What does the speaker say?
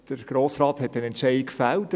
Der Grosse Rat hat einen Entscheid gefällt.